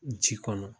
Ji kɔnɔ